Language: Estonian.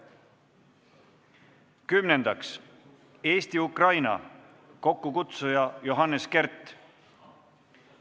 Kümnendaks, Eesti-Ukraina, kokkukutsuja on Johannes Kert.